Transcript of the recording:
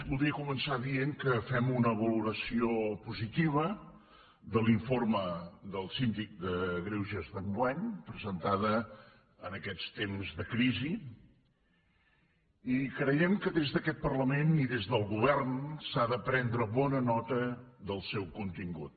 voldria començar dient que fem una valoració positiva de l’informe del síndic de greuges d’enguany presentat en aquests temps de crisi i creiem que des d’aquest parlament i des del govern s’ha de prendre bona nota del seu contingut